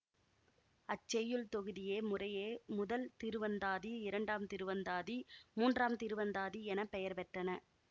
அச்செய்யுள் தொகுதியே முறையே முதல் திருவந்தாதி இரண்டாம் திருவந்தாதி மூன்றாம் திருவந்தாதி என பெயர் பெற்றன